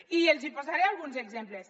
i els hi posaré alguns exemples